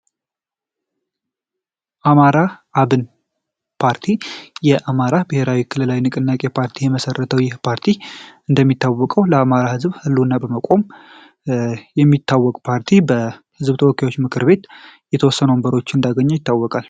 አማራ አብን የአማራ ብሔራዊ ክልላዊ ንቅናቄ ፓርቲ የመሰረተው የፓርቲ እንደሚታወቀው ለአማራ ዝብ መቆም ይታወቅ ፓርቲ በ ተወካዮች ምክር ቤት እንዳገኙ ይታወቃል።